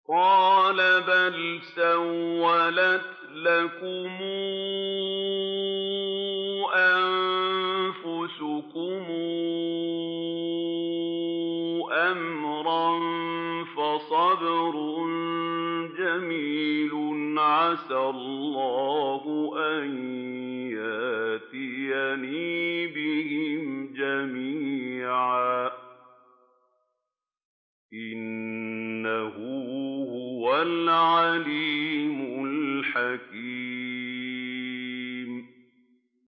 قَالَ بَلْ سَوَّلَتْ لَكُمْ أَنفُسُكُمْ أَمْرًا ۖ فَصَبْرٌ جَمِيلٌ ۖ عَسَى اللَّهُ أَن يَأْتِيَنِي بِهِمْ جَمِيعًا ۚ إِنَّهُ هُوَ الْعَلِيمُ الْحَكِيمُ